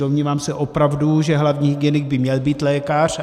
Domnívám se opravdu, že hlavní hygienik by měl být lékař.